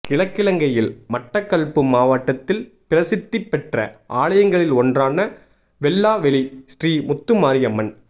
கிழக்கிலங்கையில் மட்டக்கள்ப்பு மாவட்டத்தில் பிரசித்தி பெற்ற ஆலயங்களில் ஒன்றான வெல்லாவெளி ஸ்ரீ முத்துமாரியம்மன்